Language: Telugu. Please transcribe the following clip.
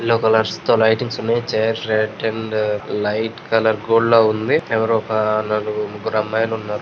మస్తు లైటింగ్స్ ఉన్నయీ. చాలా అండ్ లైట్ కలర్ గోల్డ్ లా ఉందే. ఎవరో ఒక నలుగురు ముగ్గురు అమ్మాయిలు ఉన్నారు.